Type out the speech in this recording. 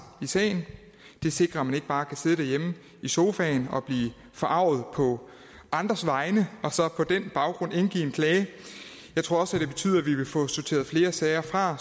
i sagen det sikrer at man ikke bare kan sidde derhjemme i sofaen og blive forarget på andres vegne og så på den baggrund indgive en klage jeg tror også det betyder at vi vil få sorteret flere sager fra